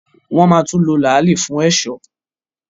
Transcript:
wọ́n máa tún lo “ làálì” fún ẹ̀sọ́.